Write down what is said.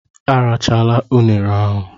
Erachala unere ahụ!